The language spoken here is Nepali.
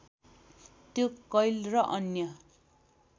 त्यो कैल र अन्य